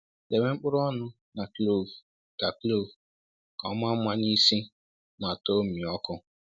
Debe mkpụrụ ọnụ na kloovu ka kloovu ka o maa mma n’isi ma too mmịọkụ.